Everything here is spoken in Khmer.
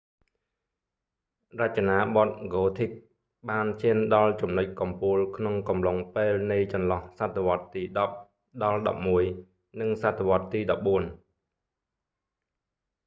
រចនាបថ gothic ហ្គោធិក​បានឈានដល់ចំណុចកំពូលក្នុងកំឡុងពេលនៃ​ចន្លោះសតវត្សទី 10 ដល់​11 និង​សតវត្ស​ទី 14។